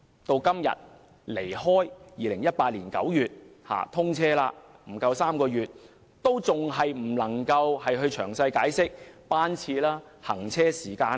至今天距2018年9月通車不足3個月，政府仍未能公布列車詳細班次及行車時間。